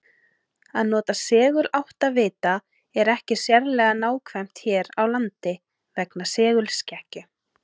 Að nota seguláttavita er ekki sérlega nákvæmt hér á landi vegna segulskekkju.